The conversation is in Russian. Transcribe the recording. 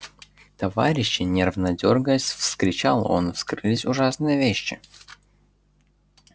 товарищи нервно дёргаясь вскричал он вскрылись ужасные вещи